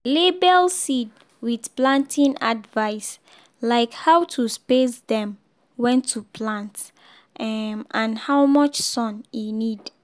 label seed with planting advice like how to space dem when to plant um and how much sun e need.